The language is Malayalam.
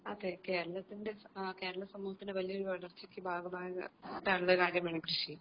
അതെ കേരളത്തിന്റെ കേരള സമൂഹത്തിന്റെ വലിയൊരു വളർച്ചയ്ക്ക് ഭാഗമായിട്ടുള്ളൊരു കാര്യമാണല്ലോ കൃഷി